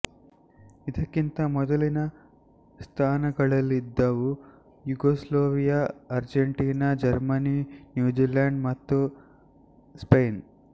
ಇದಕ್ಕಿಂತ ಮೊದಲಿನ ಸ್ಥಾನಗಳಲ್ಲಿದ್ದವು ಯುಗೋಸ್ಲಾವಿಯ ಅರ್ಜೆಂಟೈನಾ ಜರ್ಮನಿ ನ್ಯೂಜಿಲ್ಯಾಂಡ್ ಮತ್ತು ಸ್ಪೇನ್